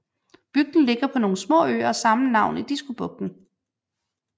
Bygden ligger på nogle små øer af samme navn i Diskobugten